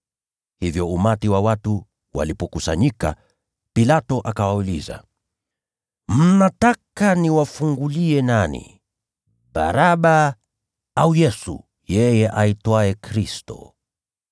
Hivyo umati wa watu walipokusanyika, Pilato akawauliza, “Mnataka niwafungulie nani, Baraba au Yesu yeye aitwaye Kristo?”